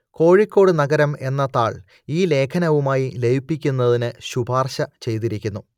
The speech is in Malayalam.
കോഴിക്കോട് നഗരം എന്ന താൾ ഈ ലേഖനവുമായി ലയിപ്പിക്കുന്നതിന് ശുപാർശ ചെയ്തിരിക്കുന്നു